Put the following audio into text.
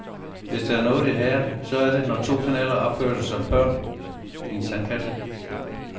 Hvis der er noget jeg hader, så er det, når to kanaler opfører sig som børn i en sandkasse.